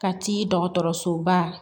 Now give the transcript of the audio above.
Ka t'i dɔgɔtɔrɔsoba